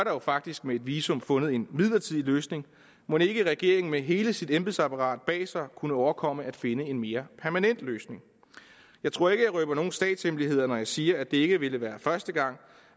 jo faktisk med et visum fundet en midlertidig løsning mon ikke regeringen med hele sit embedsapparat bag sig kunne overkomme at finde en mere permanent løsning jeg tror ikke jeg røber nogen statshemmeligheder når jeg siger at det ikke ville være første gang